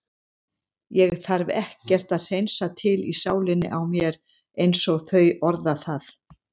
Ég þarf ekkert að hreinsa til í sálinni á mér einsog þau orða það.